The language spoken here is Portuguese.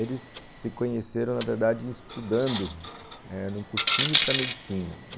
Eles se conheceram, na verdade, estudando num cursinho para medicina.